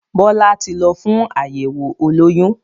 Bọlá tí ń lọ fún àyẹ̀wọ̀ olóyún